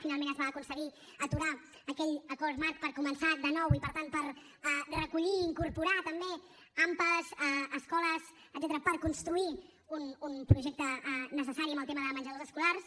finalment es va aconseguir aturar aquell acord marc per començar de nou i per tant per recollir i incorporar també ampa escoles etcètera per construir un projecte necessari en el tema de menjadors escolars